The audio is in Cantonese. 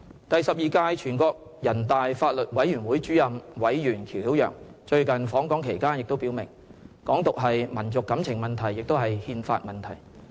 "第十二屆全國人大法律委員會前主任委員喬曉陽最近訪港期間也表明，"港獨"是"民族感情問題，也是憲法問題"。